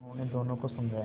उन्होंने दोनों को समझाया